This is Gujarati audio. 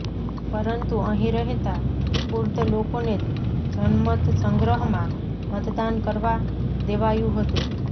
પરંતુ અહીં રહેતા કુર્દ લોકોને જનમત સંગ્રહમાં મતદાન કરવા દેવાયું હતું